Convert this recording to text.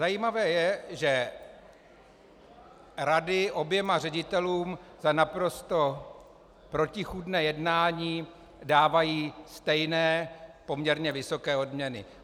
Zajímavé je, že rady oběma ředitelům za naprosto protichůdné jednání dávají stejné, poměrně vysoké odměny.